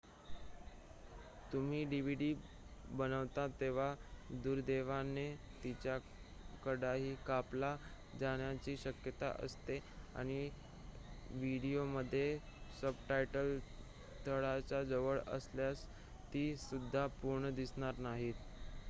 तुम्ही dvd बनवता तेव्हा दुर्दैवाने तिच्या कडाही कापल्या जाण्याची शक्यता असते आणि व्हिडीओमध्ये सबटायटल तळाच्या जवळ असल्यास ती सुद्धा पूर्ण दिसणार नाहीत